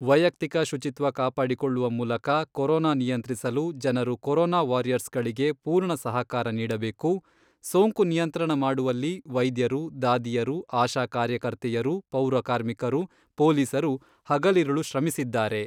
ವೈಯಕ್ತಿಕ ಶುಚಿತ್ವ ಕಾಪಾಡಿಕೊಳ್ಳುವ ಮೂಲಕ ಕೊರೊನಾ ನಿಯಂತ್ರಿಸಲು ಜನರು ಕೊರೊನಾ ವಾರಿಯರ್ಸ್ಗಳಿಗೆ ಪೂರ್ಣ ಸಹಕಾರ ನೀಡಬೇಕು, ಸೋಂಕು ನಿಯಂತ್ರಣ ಮಾಡುವಲ್ಲಿ ವೈದ್ಯರು, ದಾದಿಯರು, ಆಶಾ ಕಾರ್ಯಕರ್ತೆಯರು, ಪೌರ ಕಾರ್ಮಿಕರು, ಪೊಲೀಸರು ಹಗಲಿರುಳು ಶ್ರಮಿಸಿದ್ದಾರೆ.